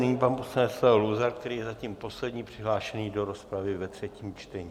Nyní pan poslanec Leo Luzar, který je zatím poslední přihlášený do rozpravy ve třetím čtení.